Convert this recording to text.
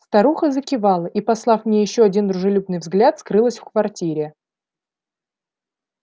старуха закивала и послав мне ещё один дружелюбный взгляд скрылась в квартире